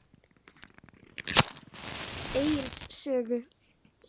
Egils sögu.